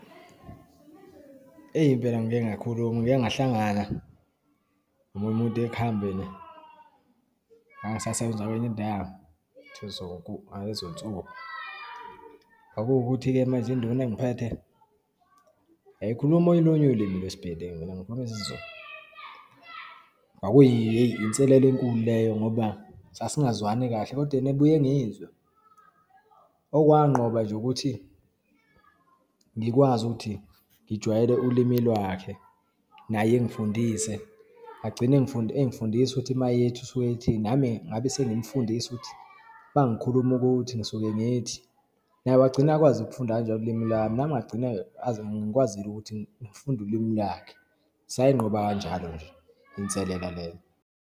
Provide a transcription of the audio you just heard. Eyi, impela ngike kakhuluma. Ngike ngihlangana nomunye umuntu ekuhambeni, ngangisasebenza kwenye indawo, ngalezonsuku. Kwakuwukuthi-ke manje induna engiphethe, yayikhuluma olunye ulimi lwesibhelengu, mina ngikhulume isiZulu. Kwakuyi, hheyi inselelo enkulu leyo, ngoba sasingezwani kahle, kodwa yena ebuye engizwe. Okwanqoba nje ukuthi ngikwazi ukuthi ngijwayele ulimi lwakhe, naye engifundise, agcine engifundisa ukuthi uma ethi usuke ethini, nami ngabe sengimfundisa ukuthi uma ngikhuluma ukuthi, ngisuke ngithi. Naye wagcina akwazi ukufunda kanjalo ulimi lami, nami ngagcina ngikwazile ukuthi ngifunde ulimi lakhe. Sayinqoba kanjalo nje inselela leyo.